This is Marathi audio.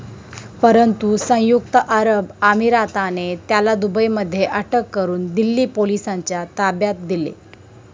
परंतु सयुंक्त अरब अमिराताने त्याला दुबईमध्ये अटक करून दिल्ली पोलिसांच्या ताब्यात दिले.